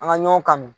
An ka ɲɔn kanu